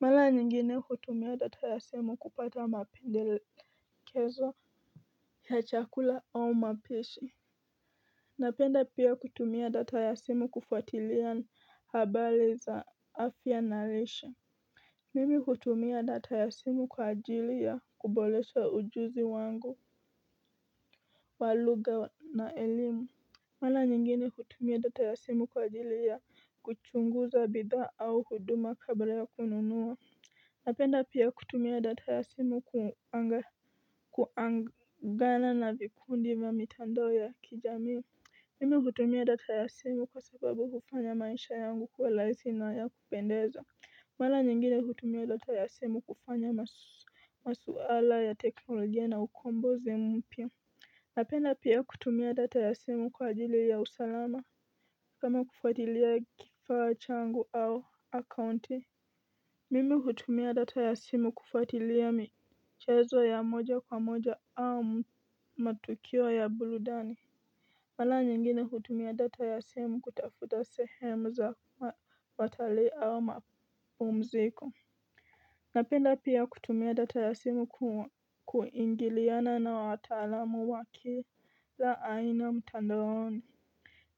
Mara nyingine hutumia data ya simu kupata mapendekezo ya chakula au mapishi Napenda pia kutumia data ya simu kufuatilia habari za afya na lishe. Mimi hutumia data ya simu kwa ajili ya kuboresha ujuzi wangu wa lugha na elimu Mara nyingine hutumia data ya simu kwa ajili ya kuchunguza bidhaa au huduma kabla ya kununua Napenda pia kutumia data ya simu kuagana na vikundi vya mitandao ya kijamii Mimi hutumia data ya simu kwa sababu hufanya maisha yangu kuwa rahisi na ya kupendeza Mara nyingine hutumia data ya simu kufanya masuala ya teknolojia na ukombozi mpya Napenda pia kutumia data ya simu kwa ajili ya usalama kama kufatilia kifaa changu au akaunti. Mimi hutumia data ya simu kufuatilia michezo ya moja kwa moja au matukio ya burudani Mara nyingine kutumia data ya simu kutafuta sehemu za watalii au mapumziko Napenda pia kutumia data ya simu kuingiliana na wataalamu wa kila aina mtandaoni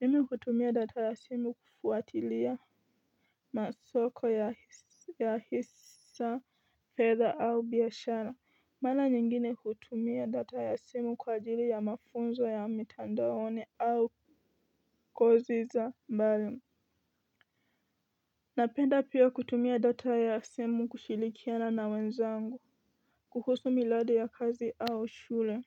Mimi hutumia data ya simu kufuatilia masoko ya hisa, fedha au biashara Mara nyingine hutumia data ya simu kwa ajili ya mafunzo ya mitandaoni au koziza mbali Napenda pia kutumia data ya simu kushirikiana na wenzangu kuhusu miradi ya kazi au shule.